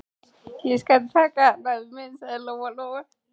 Ég skal taka hann, afi minn, sagði Lóa-Lóa.